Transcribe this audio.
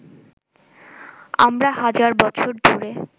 আমরা হাজার বছর ধরে